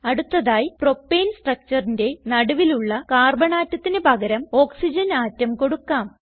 അടുത്തതായി പ്രൊപ്പേൻ structureന്റെ നടുവിലുള്ള കാർബൺ ആറ്റത്തിന് പകരം ഓക്സിജൻ ആറ്റം കൊടുക്കാം